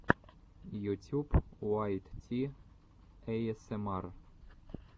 ютюб уайт ти эйэсэмар